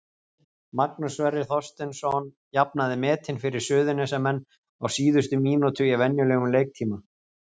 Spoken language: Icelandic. Magnús Sverrir Þorsteinsson jafnaði metin fyrir Suðurnesjamenn á síðustu mínútu í venjulegum leiktíma.